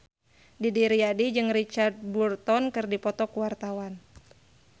Didi Riyadi jeung Richard Burton keur dipoto ku wartawan